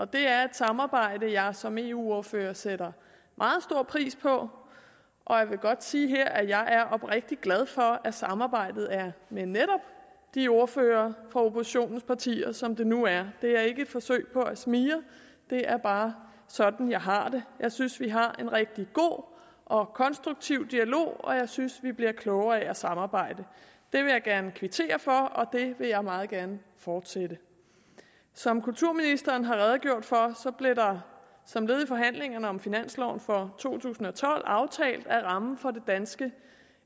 det er et samarbejde som jeg som eu ordfører sætter meget stor pris på og jeg vil godt sige her at jeg er oprigtigt glad for at samarbejdet er med netop de ordførere fra oppositionens partier som det nu er det er ikke et forsøg på at smigre det er bare sådan jeg har det jeg synes at vi har en rigtig god og konstruktiv dialog og jeg synes at vi bliver klogere af at samarbejde det vil jeg gerne kvittere for og det vil jeg meget gerne fortsætte som kulturministeren har redegjort for blev der som led i forhandlingerne om finansloven for to tusind og tolv aftalt at rammen for det danske